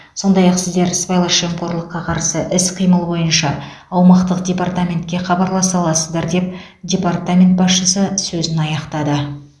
сондай ақ сіздер сыбайлас жемқорлыққа қарсы іс қимыл бойынша аумақтық департаментке хабарласа аласыздар деп департамент басшысы сөзін аяқтады